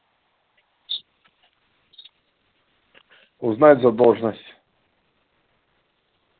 узнать задолженность